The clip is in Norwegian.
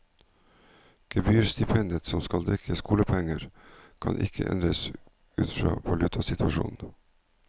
Gebyrstipendet som skal dekke skolepenger, kan ikke endres ut fra valutasituasjonen.